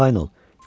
Arxayın ol.